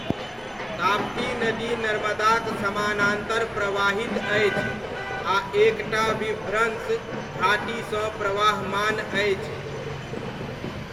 ताप्ती नदी नर्मदाक समानान्तर प्रवाहित अछि आ एक टा विभ्रंश घाटीसँ प्रवाहमान अछि।